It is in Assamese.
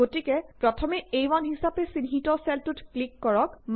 গতিকে প্ৰথমে আ1 হিচাপে চিহ্ণিত চেলটোত ক্লিক কৰক